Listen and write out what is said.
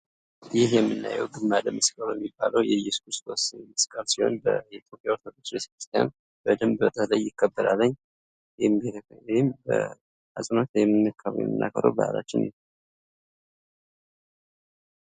ይህ የምናየው ዝማረ ምስቅሎ የሚባለው የእየሱስ ክርስቶስ መስቀል ሲሆን፤ በኢትዮጵያ ኦርቶዶክስ ቤተክርስቲያን በደምብ ይከበራል። ይህም በአጽንዖት የምናከብረው ባህላችን ነው።